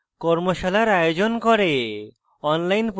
কর্মশালার আয়োজন করে